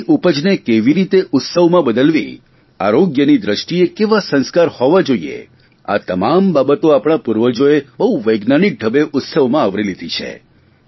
તે ઉપજને કેવી રીતે ઉત્સવમાં બદલવી આરોગ્યની દ્રષ્ટિએ કેવા સંસ્કાર હોવા જોઇએ આ તમામ બાબતો આપણા પૂર્વજોએ બહુ વૈજ્ઞાનિક ઢબે ઉત્સવમાં આવરી લીધી છે